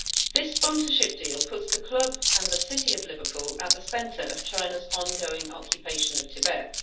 This sponsorship deal puts the club and the city of Liverpool at the centre of China's on going occupation of Tibet.